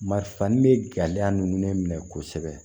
Marifa ni bɛ gɛlɛya ninnu minɛ kosɛbɛ